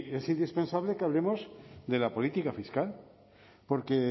es indispensable que hablemos de la política fiscal porque